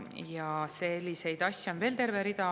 Ja selliseid asju on veel terve rida.